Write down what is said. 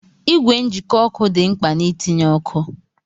Ìgwè njikọ ọkụ dị mkpa na-itinye ọkụ